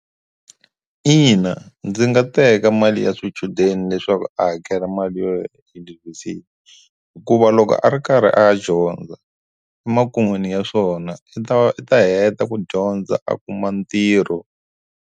Ina, ndzi nga teka mali ya swichudeni leswaku a hakela mali yo ya eyunivhesiti hikuva loko a ri karhi a ya dyondza emakun'wini ya swona i ta u ta heta ku dyondza a kuma ntirho.